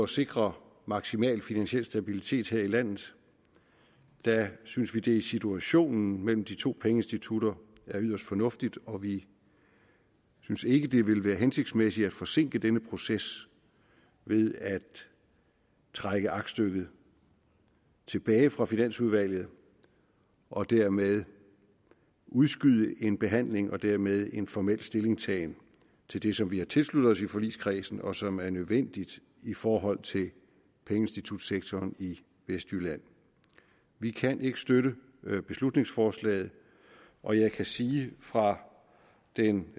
sikre maksimal finansiel stabilitet her i landet synes vi det i situationen mellem de to pengeinstitutter er yderst fornuftigt og vi synes ikke det ville være hensigtsmæssigt at forsinke denne proces ved at trække aktstykket tilbage fra finansudvalget og dermed udskyde en behandling og dermed en formel stillingtagen til det som vi har tilsluttet os i forligskredsen og som er nødvendigt i forhold til pengeinstitutsektoren i vestjylland vi kan ikke støtte beslutningsforslaget og jeg kan sige fra den